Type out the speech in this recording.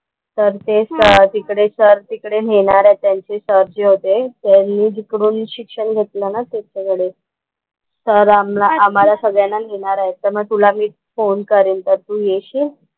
तर ते सर तिकडे सर तिकडे नेणार आहेत त्यांचे सर जे होते, त्यांनी जिकडून शिक्षण घेतलं ना त्यांच्याकडे. सर आम्हाला आम्हाला सगळ्यांना नेणार आहेत तर मग तुला मी फोन करेन तर तू येशील?